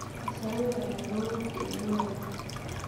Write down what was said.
Kasarwek alak kou (de novo)